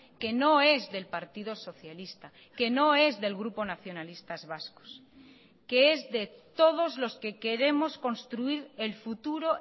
que no es del partido socialista que no es del grupo nacionalistas vascos que es de todos los que queremos construir el futuro